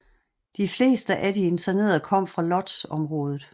De fleste af de internerede kom fra Łódźområdet